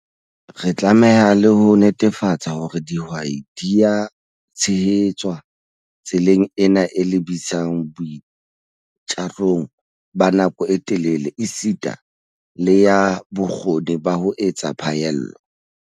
Re tlameha le ho netefatsa hore dihwai di a tshehetswa tseleng ena e lebisang boitjarong ba nako e telele esita le ya bokgoni ba ho etsa phaello.